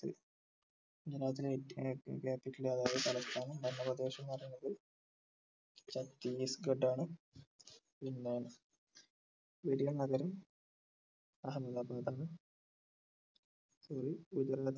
ഗുജറാത്തിലെ ഏറ്റ് ഏർ capital അതായ തലസ്ഥാനം ഭരണപ്രദേശം എന്ന് പറയുന്നത് ഛത്തിസ്ഗഡ് ആണ് പിന്നെ വലിയനഗരം അഹമ്മദാബാദ് ആണ് sorry